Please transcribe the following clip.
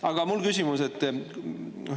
Aga mul on ka küsimus.